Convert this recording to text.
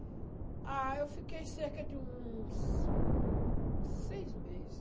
Ah, eu fiquei cerca de uns uns seis meses.